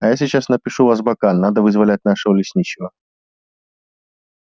а я сейчас напишу в азбакан надо вызволять нашего лесничего